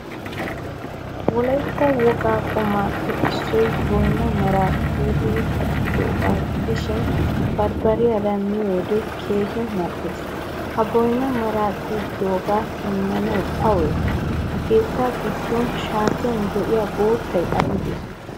Wolaytta wogaa qummappe issoy boynna mara xiqidi kattidoga gidishin barbariyaara miyode keehin mal'ees. Ha boynamara xiqidoge demmanay awnne? Ha katta giddon shaattiyan de'iyaa boottay aybe?